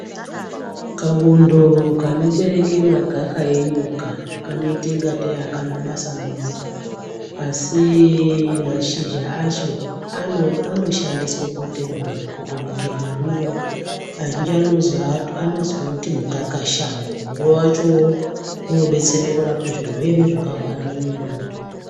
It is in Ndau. Kabundo kanobereke magaka enyoka kanoita kungatei akana basa maningi asi mashizha acho anoshandiswe kuite muriwo, kutobike muriwo. Azhinji anozouti mukakashango. Muriwo wachowo unobetsere kurapa zvirwere zvakahwara mumwiri medu.